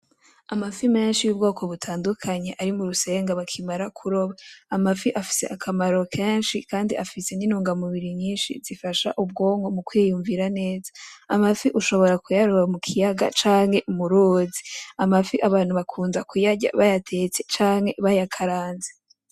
Amafi menshi yubgoko butandukanye ari murusenga bakimara kuroba. Amafi afise akamaro kenshi kandi nintungamubiri nyinshi zifasha ubgonko mu kwiyumvira neza, amafi ushobora kuyaroba mu kiyaga canke mu ruzi ,amafi abantu bakunda kuyarya bayatetse canke bayakaranze .